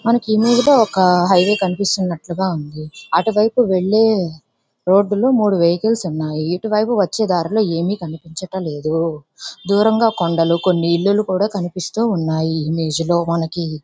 మనకి ఇమేజ్ లో ఒక హైవే కనిపిస్తున్నట్టుగా ఉంది. అటువైపు వెళ్లే రోడ్డులో మూడు వెహికల్స్ ఉన్నాయి. ఇటువైపు వచ్చే దారిలో ఏమీ కనిపించడం లేదు. దూరంగా కొన్ని కొండలు ఇల్లులు కనిపిస్తూ ఉన్నాయి ఇమేజ్ లో మనకి.